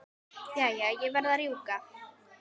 Jæja, ég verð að rjúka.